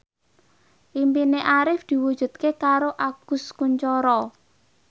impine Arif diwujudke karo Agus Kuncoro